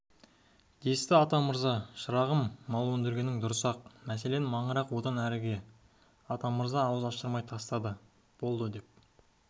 десті атамырза шырағым мал өндіргенің дұрыс-ақ мәселен маңырақ одан әріге атамырза ауыз аштырмай тастады болды деп